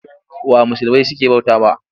Wa musulmai suke bautawa?